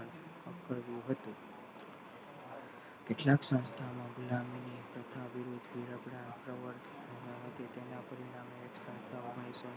કરવું હતું કેટલાક સંસ્થામાં બ્રાહ્મણી તથા